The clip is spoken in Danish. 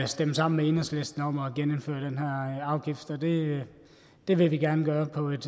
stemme sammen med enhedslisten om at genindføre den her afgift så det det vil vi gerne gøre på et